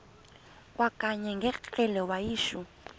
kwakanye ngekrele wayishu